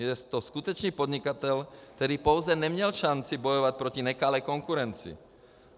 Je to skutečný podnikatel, který pouze neměl šanci bojovat proti nekalé konkurenci.